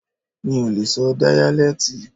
Mi ò lè sọ díyálẹ́tì.